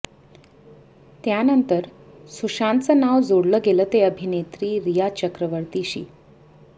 त्यानंतर सुशांतचं नाव जोडलं गेलं ते अभिनेत्री रिया चक्रवर्तीशी